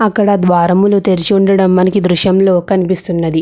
అక్కడ ద్వారములు తెరిచి ఉండడం మనకి ఈ దృశ్యంలో తెలుస్తుంది.